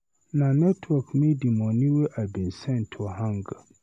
Na network make di moni wey I bin send to hang.